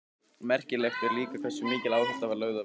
Merkilegt er líka hversu mikil áhersla var lögð á vinnusemi.